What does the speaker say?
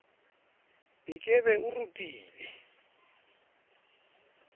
e ke be e rutile